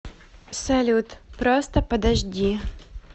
салют просто подожди